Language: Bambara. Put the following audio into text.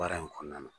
Baara in kɔnɔna na